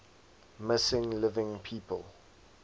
missing living people